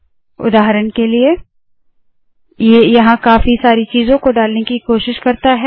उदाहरण के लिए ये यहाँ काफी सारी चीजों को डालने की कोशिश करता है